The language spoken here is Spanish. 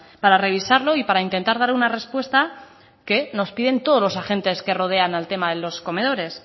para revisarlo y para intentar dar una respuesta que nos piden todos los agentes que rodean al tema de los comedores